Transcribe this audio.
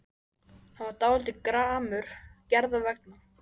Hann var dálítið gramur Gerðar vegna.